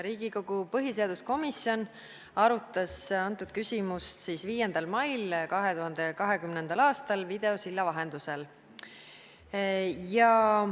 Riigikogu põhiseaduskomisjon arutas antud küsimust 5. mail 2020. aastal videosilla vahendusel.